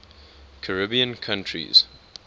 caribbean countries